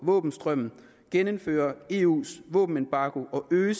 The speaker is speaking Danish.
våbenstrømmen genindføre eus våbenembargo og øge